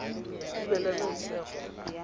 tumelesego